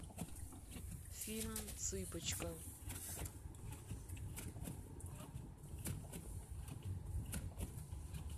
фильм цыпочка